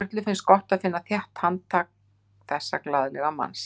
Og Sturlu finnst gott að finna þétt handtak þessa glaðlega manns.